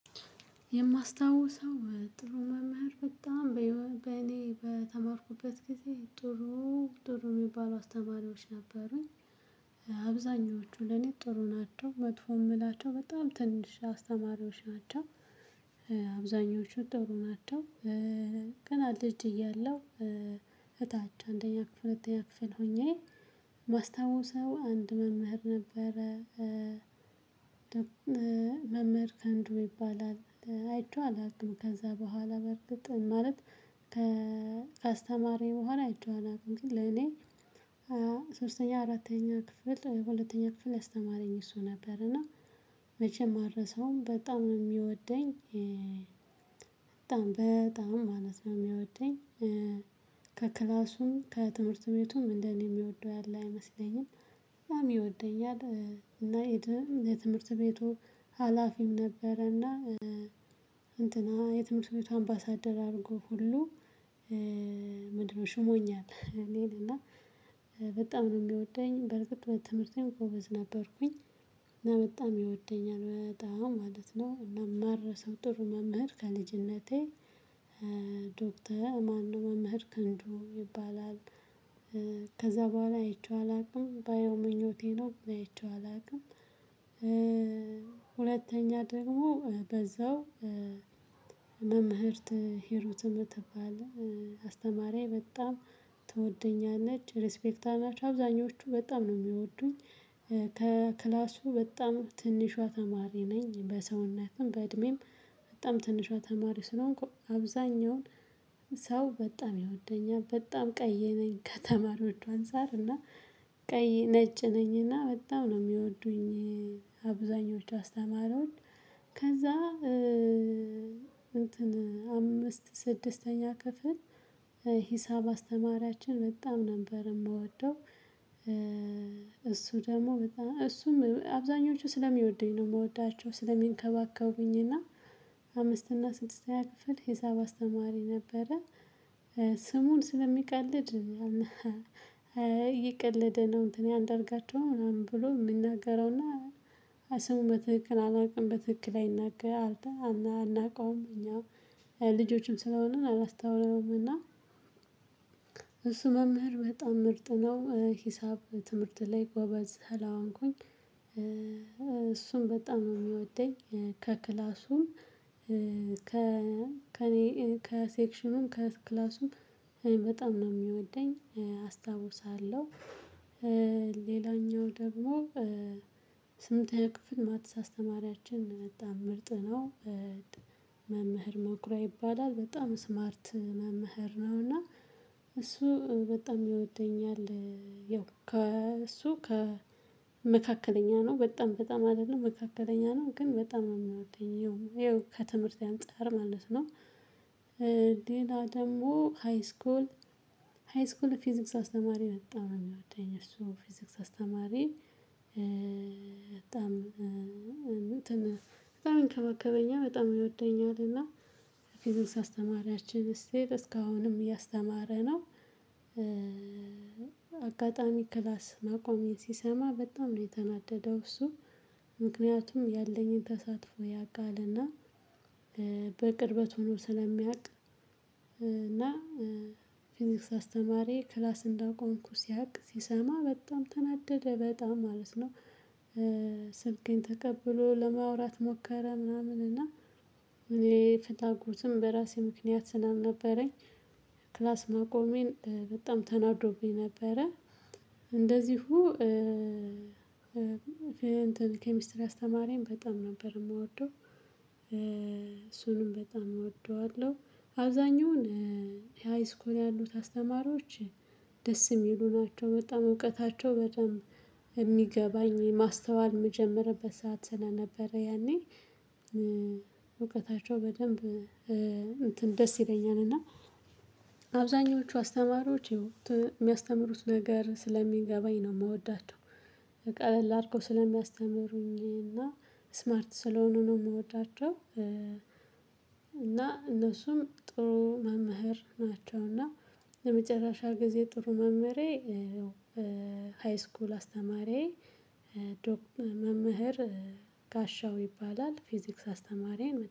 የማስታውሰው ጥሩ መምህር በጣም በእኔ በተማርኩበት ጊዜ ጥሩ ጥሩ የሚባሉ አስተማሪዎች ነበሩኝ። አብዛኞቹ ለኔ ጥሩ ናቸው መጥፎ የምላቸው በጣም ትንሽ አስተማሪዎች ናቸው። አብዛኞቹ ጥሩ ናቸው። ገና ልጅ እያለሁ እታች አንደኛ ክፍል ሁለተኛ ክፍል ሆኜ ማስታውሰው አንድ መምህር ነበረ። መምህር ከአንዱ ይባላል አይቼው አላውቅም ከዛ በኋላ በርግጥ ማለት ከ ከስተማሪኝ በኋላ አይቼው አላውቅም። ግን ለኔ ሶስተኛ አራተኛ ክፍል ሁለተኛ ክፍል ያስተማረኝ እሱ ነበር እና መቼም አረሳውም ሰውም በጣም ነው የሚወደኝ። በጣም በጣም ማለት ነው የሚወደኝ። ከክላሱም ከትምህርት ቤቱም እንደኔ የሚወደው ያለ አይመስለኝም። በጣም ይወደኛል። እና እድም የትምህርት ቤቱ ሀላፊም ነበረና እንትና የትምህርት ቤቱ አምባሳደር አድርጎ ሁሉ ምንድነው ሹሞኛል። እኔን እና በጣም ነው የሚወደኝ በርግጥ በትምህርቴም ጎበዝ ነበርኩኝ። እና በጣም ይወደኛል በጣም ማለት ነው ማልረሳው ጥሩ መምህር ከልጅነቴ። ዶክተ ማንነው መምህር ክንዱ ይባላል። ከዛ በኋላ አይቼው አላውቅም ባየው ምኞቴ ነው ግን አይቼው አላውቅም። ሁለተኛ ደግሞ በዛው መምህርት ሂሩት ምትባል አስተማሪዬ በጣም ትወደኛለች ሪስፔክት አናች አብዛኞቹ በጣም ነው የሚወዱኝ። ከክላሱ በጣም ትንሿ ተማሪ ነኝ በሰውነትም በእድሜም በጣም ትንሿ ተማሪ ስለሆንኩ አብዛኛውን ሰው በጣም ይወደኛል። በጣም ቀይ ነኝ ከተማሪዎቹ አንፃር እና ቀይ ነጭ ነኝና በጣም ነው የሚወዱኝ። አብዛኞቹ አስተማሪዎች ከዛ እንትን አምስት ስድስተኛ ክፍል ሂሳብ አስተማሪያችን በጣም ነበር የምወደው። እሱ ደግሞ በጣም እሱም አብዛኞቹ ስለሚወዱኝ ነው የምወዳቸው ስለሚንከባከቡኝ እና አምስት እና ስድስተኛ ክፍል ሂሳብ አስተማሪ ነበረ። ስሙን ስለሚቀልድ እየቀለደ ነው እንትን አንደርጋቸው ምናምን ብሎ የምናገረውና ስሙን በትክክል አላውቅም በትክክል አይናገር አልተህ አናውቀውም እኛ ልጆችም ስለሆንን አላስታውለንም። እና እሱ መምህር በጣም ምርጥ ነው። ሂሳብ ትምህርት ላይ ጎበዝ ስለሆንኩኝ እሱም በጣም ነው የሚወደኝ። ከክላሱም ከ ከእኔ ከሴክሽኑም ከክላሱም በጣም ነው የሚወደኝ አስታውሳለሁ። ሌላኛው ደግሞ ስምንተኛ ክፍል ማትስ አስተማሪያችን በጣም ምርጥ ነው። መምህር መኩራያ ይባላል በጣም ስማርት መምህር ነው እና እሱ በጣም ይወደኛል። ያው ከእሱ ከመካከለኛ ነው በጣም በጣም አይደለም መካከለኛ ነው ግን በጣም የምወደኝ ይኸው ከትምህርቴ አንፃር ማለት ነው። ሌላ ደግሞ ሃይስኮል ሃይስኮል ፊዚክስ አስተማሪ በጣም ነው የሚወደኝ እሱ ፊዚክስ አስተማሪ። በጣም እንትን በጣም ይንከባከበኛለን በጣም ይወደኛል እና ፊዚክስ አስተማሪያችን ስትል እስካሁንም እያስተማረ ነው። አጋጣሚ ክላስ ማቆሜን ሲሰማ በጣም ነው የተናደደው እሱ። ምክንያቱም ያለኝን ተሳትፎ ያቃልና። በቅርበት ሆኖ ስለሚያቅ። እና ፊዚክስ አስተማሪ ክላስ እንዳቆምኩ ሲያውቅ ሲሰማ በጣም ተናደደ በጣም ማለት ነው። ስልኬን ተቀብሎ ለማውራት ሞከረ ምናምን እና እኔ ፍላጎትም በራሴ ምክንያት ስላልነበረኝ ክላስ ማቆሜን በጣም ተናዶብኝ ነበረ። እንደዚሁ እንትን ኬሚስትሪ አስተማሪም በጣም ነበር የምወደው። እሱንም በጣም እወደዋለሁ። አብዛኛውን ሃይስኮል ያሉት አስተማሪዎች ደስ የሚሉ ናቸው። በጣም እውቀታቸው በደንብ የሚገባኝ ማስተዋል የምጀምርበት ሰዓት ስለነበረ ያኔ እውቀታቸው በደንብ እንትን ደስ ይለኛል እና። አብዛኞቹ አስተማሪዎች የሚያስተምሩት ነገር ስለሚገባኝ ነው የምወዳቸው። ቃለል አድርገው ስለሚያስተምሩኝ እና ስማርት ስለሆኑ ነው የምወዳቸው። እና እነሱም ጥሩ መምህር ናቸው። እና ለመጨረሻ ጊዜ ጥሩ መምህሬ ያው ሃይስኩል አስተማሪዬ ዶክ መምህር ጋሻው ይባላል። ፊዚክስ አስተማሪዬን